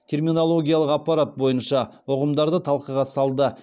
терминологиялық аппарат бойынша ұғымдарды талқыға салды